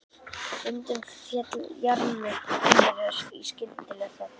Stundum féll jarmur þeirra í skyndilega þögn.